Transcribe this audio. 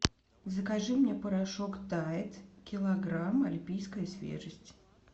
закажи мне порошок тайд килограмм альпийская свежесть